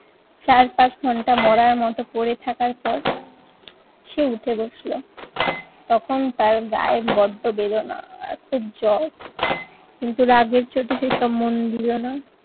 চার পাঁচ ঘন্টা মরার মতো পরে থাকার পর সে উঠে বসলো। তখন তার গায়ে বড্ড বেদনা আর খুব জ্বর কিন্তু রাগের চোটে সে সব মন দিলনা